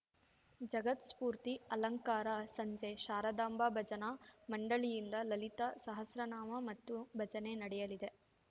ಜಗತ್ಪ್ರಸೂತಿ ಅಲಂಕಾರ ಸಂಜೆ ಶಾರದಾಂಬಾ ಭಜನಾ ಮಂಡಳಿಯಿಂದ ಲಲಿತಾ ಸಹಸ್ರನಾಮ ಮತ್ತು ಭಜನೆ ನಡೆಯಲಿದೆ